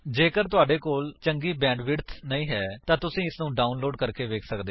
ਜੇਕਰ ਤੁਹਾਡੇ ਕੋਲ ਚੰਗੀ ਬੈਂਡਵਿਡਥ ਨਹੀਂ ਹੈ ਤਾਂ ਤੁਸੀ ਇਸਨੂੰ ਡਾਉਨਲੋਡ ਕਰਕੇ ਵੇਖ ਸੱਕਦੇ ਹੋ